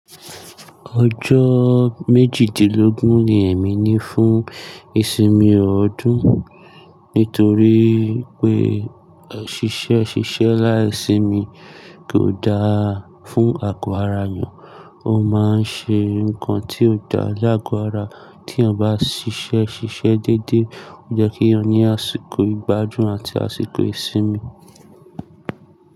Ọjọ́ méjìdínlógún ni èmi ní fún ìsinmi ọdún nítorí pé e ṣìṣẹ́ ṣiṣẹ́ láì sinmi kò daa fún àgọ́ ara èèyàn, ó máa ń ṣe nǹkan tí ò dá lágo ara tí èeyàn bá ṣiṣẹ́ ṣiṣẹ́ dédé. Ó yẹ́ kí ènìyàn ní àsìkò gbigbádùn àti àsìkò ìsinmi.